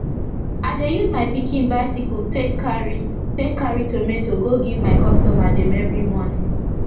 i dey use my pikin bicycle take carry take carry tomato go give my customer dem everi morning